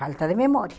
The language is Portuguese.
Falta de memória.